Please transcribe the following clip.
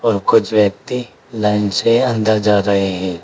और कुछ व्यक्ति लाइन से अंदर जा रहे हैं।